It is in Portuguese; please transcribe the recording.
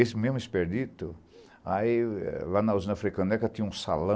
Esse mesmo expedito, lá na Usina Africana, tinha um salão,